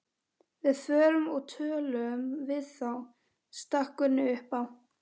Við förum og tölum við þá, stakk Gunni upp á.